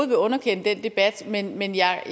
vil underkende den debat men men jeg